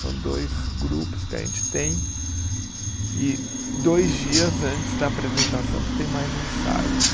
São dois grupos que a gente tem e dois dias antes da apresentação que tem mais ensaios.